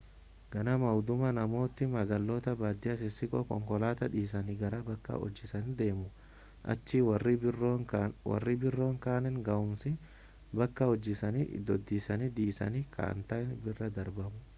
ganama hudumaa namootni magaalota baadiyyaa xixiqqoo konkolaataan dhiisanii gara bakka hojiisaaniitti deemu achii warreen biroon kanneen ga'umsi bakka hojiisaanii iddoosaan dhiisanii ka'an ta'een bira darbamu